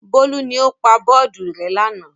Bólú ni ó pa bọ́ọ́dù rẹ́ lánàá.